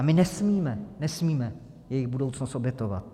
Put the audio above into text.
A my nesmíme, nesmíme jejich budoucnost obětovat.